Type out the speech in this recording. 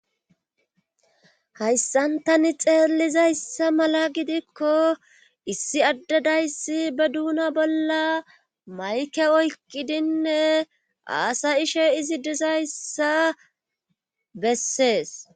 hayssantani xeellizayssa mala gidikko issi addadayssi be duuna bolla mayke oykkidinne aasa ishe izi dizayssa bessees